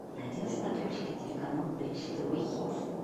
найди на смотрешке телеканал бридж тв хитс